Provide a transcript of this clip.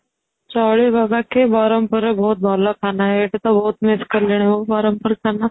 ଚଳିବ ବାକି ବ୍ରହ୍ମପୁର ର ବହୁତ ଭଲ ଖାନା ଏଇଠି ତ ବହୁତ miss କଲିଣି ମୁଁ ବ୍ରହ୍ମପୁର ଖାନା